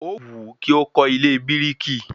Ówù ú kí ó kọ́ ilé bírìkì